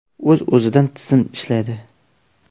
O‘z-o‘zidan tizim ishlaydi.